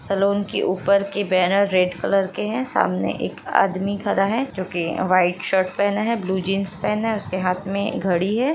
Salon के ऊपर के बैनर रेड कलर के है सामने एक आदमी खड़ा है जो कि वाइट शर्ट पेहना है ब्लू जींस पेहना है उसके हाथ में घड़ी है।